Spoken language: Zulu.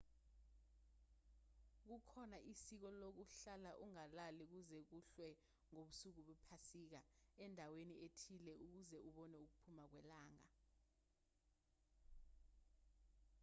kukhona isiko lokuhlala ungalali kuze kuhlwe ngobusuku bephasika endaweni ethile ukuze ubone ukuphuma kwelanga